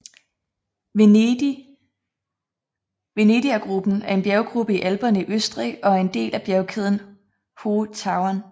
Venedigergruppen er en bjerggruppe i Alperne i Østrig og er en del af bjergkæden Hohe Tauern